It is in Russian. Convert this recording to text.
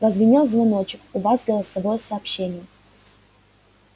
прозвенел звоночек у вас голосовое сообщение